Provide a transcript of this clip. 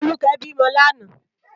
Foluke bi mò làná